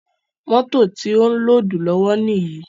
Mótò ti ó ń lódùù lọ́wọ́ níyì.